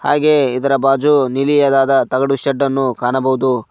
ಹಾಗೆ ಇದರ ಬಾಜು ನೀಲಿಯಾದಾದ ತಗಡು ಶೇಡ್ಡನ್ನು ಕಾಣಬಹುದು.